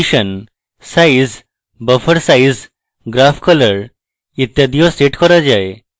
position size buffer size graph color ইত্যাদিও set করা যায়